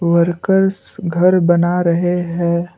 Workers घर बना रहे हैं।